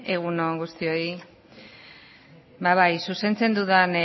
egun on guztioi ba bai zuzentzen dudan